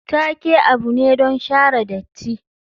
Take abu ne don share datti.